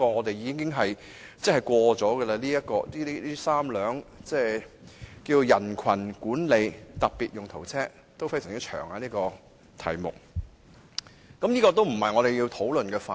其實，警方已獲准採購3輛"人群管理的特別用途車"，因此，這絕非我們要討論的範圍。